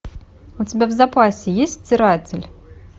у тебя в запасе есть стиратель